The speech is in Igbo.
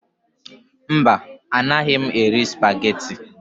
Mba, anaghị m eri Supagetii